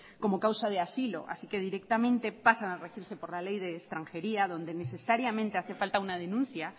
como causa de asilo así que directamente pasan a regirse por la ley de extranjería donde necesariamente hace falta una denuncia